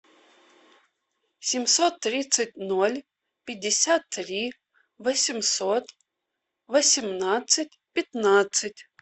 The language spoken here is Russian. семьсот тридцать ноль пятьдесят три восемьсот восемнадцать пятнадцать